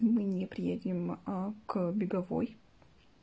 мы не приедем а к беговой